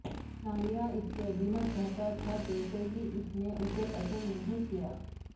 نالیاہ اس کی عظمت چاہتا تھا جیسے ہی اس نے اسے پسند نہیں کیا